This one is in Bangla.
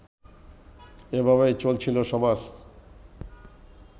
এভাবেই চলছিল সমাজ